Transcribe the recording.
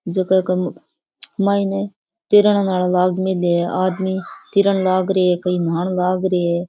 जगा के मायने तेरान लाग मेलले है आदमी तिरण लागरे है कई नाहन लग रे है।